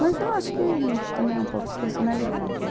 Mas eu acho que também é um pouco de personalidade, né?